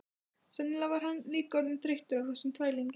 Sennilega var hann líka orðinn þreyttur á þessum þvælingi.